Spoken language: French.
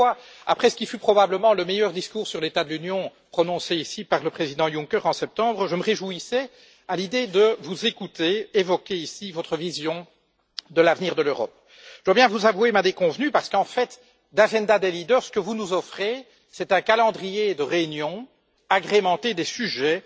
C'est pourquoi, après ce qui fut probablement le meilleur discours sur l'état de l'Union prononcé ici par le président Juncker en septembre, je me réjouissais à l'idée de vous écouter évoquer ici votre vision de l'avenir de l'Europe. Je dois bien vous avouer ma déconvenue, parce qu'en fait de programme des dirigeants, ce que vous nous offrez, c'est un calendrier de réunions agrémenté des sujets